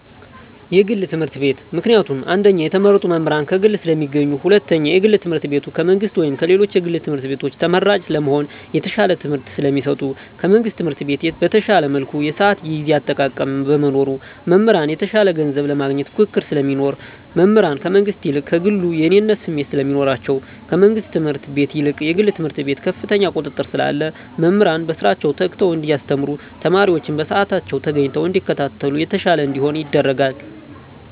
የግል ትምህርት ቤት። ምክንያቱም አንደኛ የተመረጡ መምህራን ከግል ስለሚገኙ ሁለተኛ የግል ትምህርት ቤቱ ከመንግስት ወይም ከሌሎች የግል ትምህርት ቤቶች ተመራጭ ለመሆን የተሻለ ትምህርት ስለሚሰጡ። ከመንግስት ትምህርት ቤት በተሻለ መልኩ የስአት የጊዜ አጠቃቀም በመኖሩ። መምህራን የተሻለ ገንዘብ ለማግኘት ፉክክር ስለሚኖር። መምህራን ከመንግስት ይልቅ ከግሉ የእኔነት ስሜት ስለሚኖራቸዉ። ከመንግስት ትምህርት ቤት ይልቅ የግል ትምህርት ቤት ከፍተኛ ቁጥጥር ስላለ መምህራን በስራቸዉ ተግተዉ እንዲያስተምሩ ተማሪወችም በስአታቸዉ ተገኝተዉ እንዲከታተሉ የተሻለ እንዲሆን ያደርጋል።